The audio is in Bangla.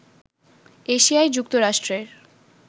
এশিয়ায় যুক্তরাষ্ট্রের